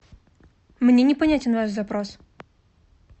мне непонятен ваш запрос